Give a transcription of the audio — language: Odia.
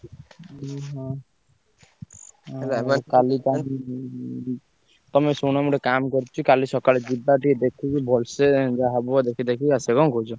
ଓହୋ! ତମେ ଶୁଣ ମୁଁ ଗୋଟେ କାମ୍ କରୁଚି କାଲି ସକାଳେ ଯିବା ଟିକେ ଦେଖିକି ଭଲସେ ଯାଇ ଯାହା ହବ ଦେଖି ଦାଖି ଆସିଆ। କଣ କହୁଛ?